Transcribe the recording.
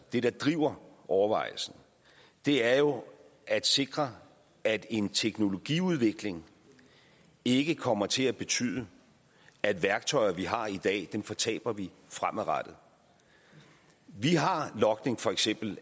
det der driver overvejelserne er jo at sikre at en teknologiudvikling ikke kommer til at betyde at værktøjer vi har i dag fortaber vi fremadrettet vi har for eksempel